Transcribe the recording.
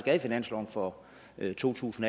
er i finansloven for to tusind